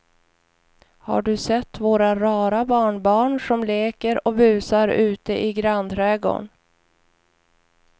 Har du sett våra rara barnbarn som leker och busar ute i grannträdgården!